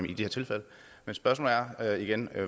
i de tilfælde men spørgsmålet er er igen